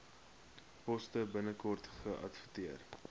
poste binnekort geadverteer